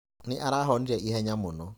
Nĩ arahonire ihenya mũno.